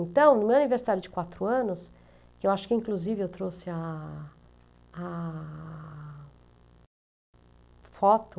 Então, no meu aniversário de quatro anos, que eu acho que inclusive eu trouxe a a foto,